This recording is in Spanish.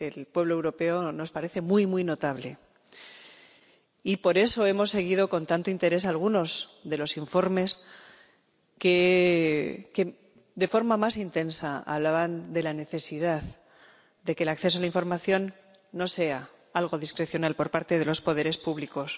Pueblo Europea nos parece muy notable, y por eso hemos seguido con tanto interés algunos de los informes que, de forma más intensa, hablaban de la necesidad de que el acceso a la información no sea algo discrecional por parte de los poderes públicos.